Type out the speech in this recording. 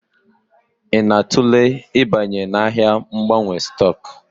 Ị na-atụle ịbanye n'ahịa mgbanwe stock?